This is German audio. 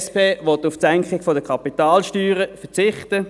Die SP will auf die Senkung der Kapitalsteuern verzichten.